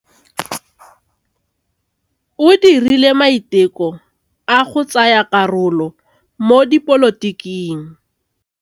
O dirile maitekô a go tsaya karolo mo dipolotiking.